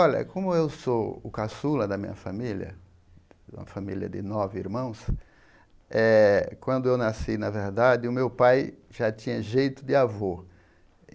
Olha, como eu sou o caçula da minha família, uma família de nove irmãos, eh quando eu nasci, na verdade, o meu pai já tinha jeito de avô.